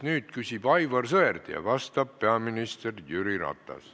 Nüüd küsib Aivar Sõerd ja vastab peaminister Jüri Ratas.